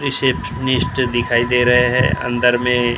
receptionist दिखाई दे रहे हैं अंदर में --